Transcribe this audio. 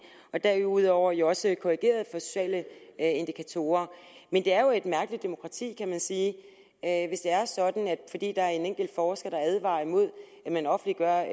derudover jo også korrigeret for sociale indikatorer men det er jo et mærkeligt demokrati kan man sige at hvis det er sådan at fordi der er en enkelt forsker der advarer imod at man offentliggør